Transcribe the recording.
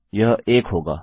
यह एक होगा